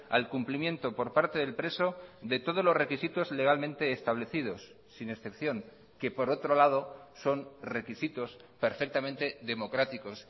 al cumplimiento por parte del preso de todos los requisitos legalmente establecidos sin excepción que por otro lado son requisitos perfectamente democráticos